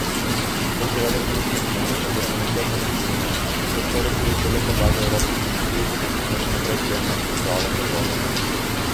To seveda še nič ne pomeni oziroma ničesar ne spreminja, saj s to resolucijo le predlagajo Evropski komisiji, naj še naprej spremlja in pripravlja predloge.